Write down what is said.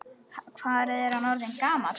Hvað er hann orðinn gamall?